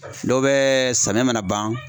Dɔw bɛ samiya mana ban